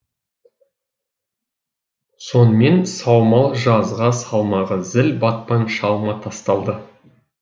сонымен саумал жазға салмағы зіл батпан шалма тасталды